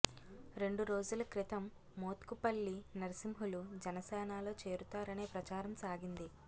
రెండు రోజుల క్రితం మోత్కుపల్లి నర్సింహులు జనసేనలో చేరుతారనే ప్రచారం సాగింది